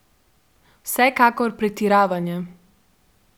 Vsekakor, pretiravanje.